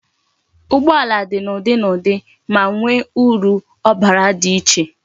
Ụgbọala dị n'ụdị na ụdị, ma nwe uru obara di iche